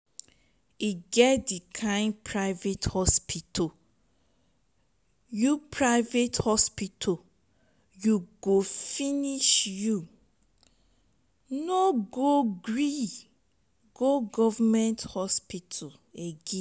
e get di kain private hospital you private hospital you go finish you no go gree go government hospital again.